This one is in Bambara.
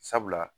Sabula